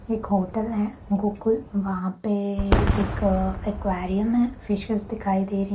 एक होटल है गोकुल वहाँ पे एक अ एक्वेरियम है फिशेस दिखाई दे रही --